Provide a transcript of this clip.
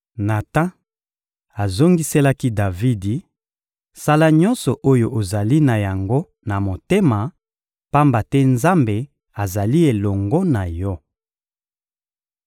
Natan azongiselaki Davidi: — Sala nyonso oyo ozali na yango na motema, pamba te Nzambe azali elongo na yo.